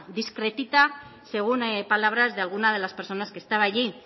discretita según palabras de algunas de las personas que estaba allí